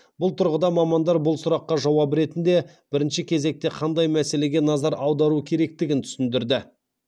бұл тұрғыда мамандар бұл сұраққа жауап ретінде бірінші кезекте қандай мәселеге назар аудару керектігін түсіндірді